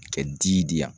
Kɛ ji di yan